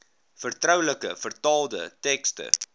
vertroulike vertaalde tekste